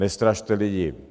Nestrašte lidi!